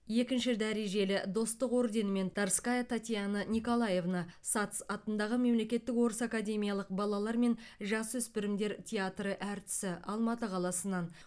екінші дәрежелі достық орденімен тарская татьяна николаевна сац атындағы мемлекеттік орыс академиялық балалар мен жасөспірімдер театры әртісі алматы қаласынан